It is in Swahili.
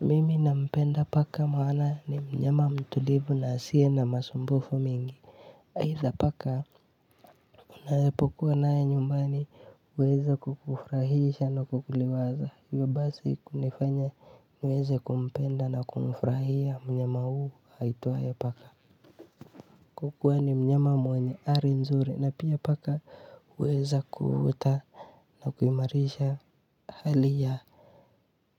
Mimi nampenda paka maana ni mnyama mtulivu na asiye na masumbufu mwingi. Aidha paka. Unapokuwa naye nyumbani, anaweza kukufurahisha na kukuliwaza. Hivyo basi kunifanya niweze kumpenda na kumfurahia mnyama huyu, aitwaye paka. Kwa kuwa ni mnyama mwenye hali nzuri na pia paka anaweza kuota na kuimarisha hali.